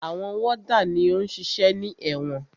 Àwọn wọ́dà ni ó ń ṣiṣẹ́ ní ẹ̀wọ̀n.